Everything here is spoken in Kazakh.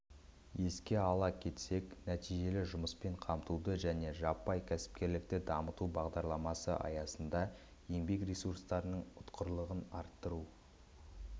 еске сала кетсек нәтижелі жұмыспен қамтуды және жаппай кәсіпкерлікті дамыту бағдарламасы аясында еңбек ресурстарының ұтқырлығын арттыру